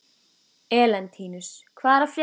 Elentínus, hvað er að frétta?